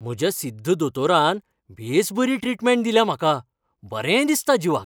म्हज्या सिद्ध दोतोरान बेस बरी ट्रीटमेंट दिल्या म्हाका. बरें दिसता जिवाक.